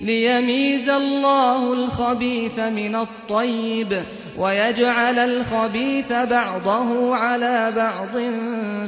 لِيَمِيزَ اللَّهُ الْخَبِيثَ مِنَ الطَّيِّبِ وَيَجْعَلَ الْخَبِيثَ بَعْضَهُ عَلَىٰ بَعْضٍ